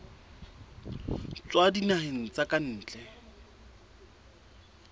tswa dinaheng tsa ka ntle